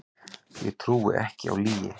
Ég trúi ekki á lygi